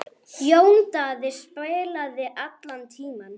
Jón Daði spilaði allan tímann.